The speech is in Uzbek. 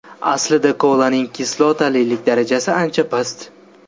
Aslida kolaning kislotalilik darajasi ancha past.